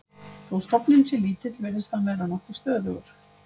Þó stofninn sé lítill virðist hann vera nokkuð stöðugur.